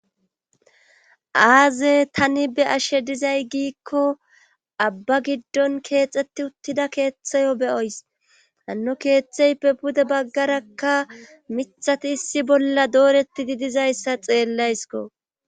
Aze tani be ashe dizay giikko abba giddon keexeti uttida keeththayo beyoys hanno keeththeype pude baggarakka mithati issi bolla dooreti di dizayssa xeellaysko